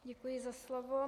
Děkuji za slovo.